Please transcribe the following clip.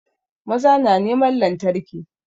Maza na neman lantarki